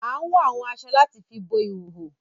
Àn wọ awọn aṣọ làti fi bo ihoho